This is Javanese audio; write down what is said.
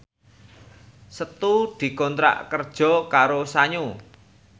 Setu dikontrak kerja karo Sanyo